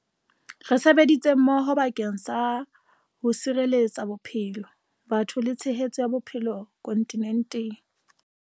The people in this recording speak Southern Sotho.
Re sebeditse mmoho bakeng sa ho tshireletsa bophelo, batho le tshehetso ya bophelo kontinenteng.